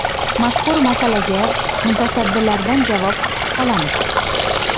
Mazkur masalaga mutasaddilardan javob kutib qolamiz.